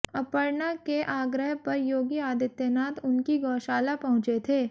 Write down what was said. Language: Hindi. अपर्णा के आग्रह पर योगी आदित्यनाथ उनकी गोशाला पहुंचे थे